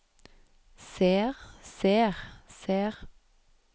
ser ser ser